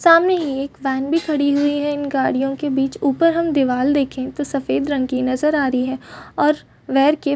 सामने ही एक वेन भी खड़ी हुई ही है इन गाड़ीयो के बिच। ऊपर हम दीवार देखे तो सफ़ेद रंग की नजर आ रही है और वर के--